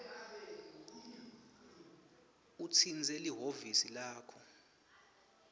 utsintse lihhovisi lakho